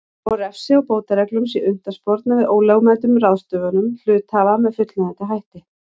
og refsi og bótareglum sé unnt að sporna við ólögmætum ráðstöfunum hluthafa með fullnægjandi hætti.